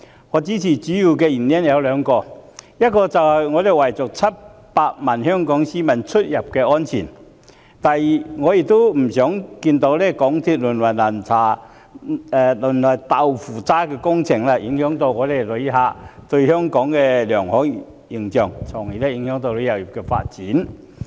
我支持的原因主要有兩個：第一，是為了700萬香港市民的出入安全着想；以及第二，是因為我不想看到鐵路項目淪為"豆腐渣"工程，影響旅客對香港的良好形象，繼而影響旅遊業發展。